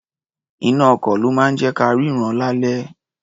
Iná-ọkọ̀ ló máa ń jẹ́ ka rínran lálẹ́.